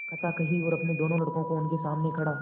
कथा कही और अपने दोनों लड़कों को उनके सामने खड़ा